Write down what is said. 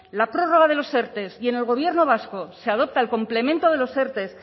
la prórroga de los erte y en el gobierno vasco se adopta el complemento de los erte